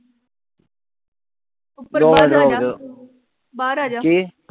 ਦੋ ਬਾਹਰ ਆਜਾ ।